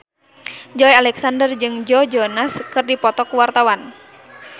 Joey Alexander jeung Joe Jonas keur dipoto ku wartawan